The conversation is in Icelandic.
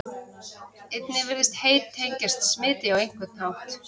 einnig virðist hey tengjast smiti á einhvern hátt